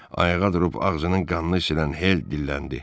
Ayağa durub ağzının qanını silən Hel dilləndi.